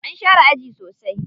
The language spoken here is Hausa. An share aji sosai.